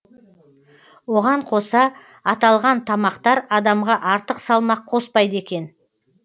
оған қоса аталған тамақтар адамға артық салмақ қоспайды екен